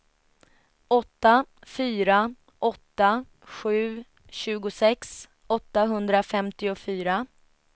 åtta fyra åtta sju tjugosex åttahundrafemtiofyra